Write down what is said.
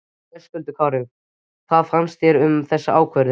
Höskuldur Kári: Hvað finnst þér um þessa ákvörðun?